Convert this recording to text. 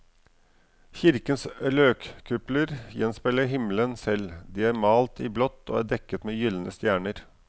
Kirkens løkkupler gjenspeiler himmelen selv, de er malt i blått og dekket med gyldne stjerner.